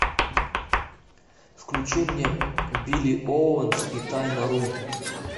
включи мне билли оуэнс и тайна рун